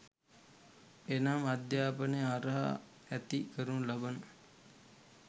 එනම් අධ්‍යාපනය හරහා ඇති කරනු ලබන